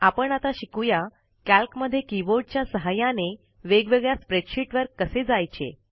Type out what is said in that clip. आपण आता शिकू या कॅल्कमध्ये कीबोर्डच्या सहाय्याने वेगवेगळ्या स्प्रेडशीटवर कसे जायचे